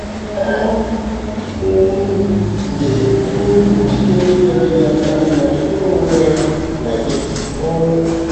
Ọ um dị um njikere inyere gị aka ma jikọọ onwe ya na gị. um